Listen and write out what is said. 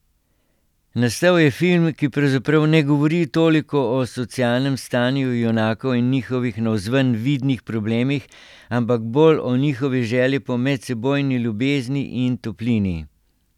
Nastal je film, ki pravzaprav ne govori toliko o socialnem stanju junakov in njihovih navzven vidnih problemih, ampak bolj o njihovi želji po medsebojni ljubezni in toplini.